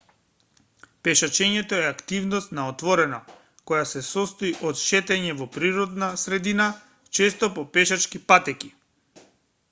пешачењето е активност на отворено која се состои од шетање во природна средина често по пешачки патеки